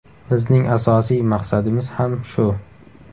Bizning asosiy maqsadimiz ham shu.